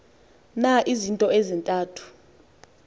na izinto ezintathu